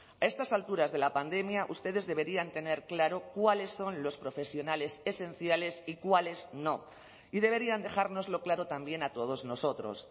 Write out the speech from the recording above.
a estas alturas de la pandemia ustedes deberían tener claro cuáles son los profesionales esenciales y cuáles no y deberían dejárnoslo claro también a todos nosotros